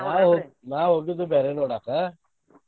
ನಾ ಹೋಗಿ ನಾ ಹೋಗಿದ್ದು ಬ್ಯಾರೆ ನೋಡಾಕ.